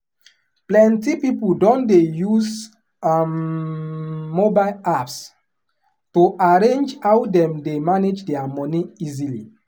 plenty people don dey use um mobile apps to arrange how dem dey manage their money easily.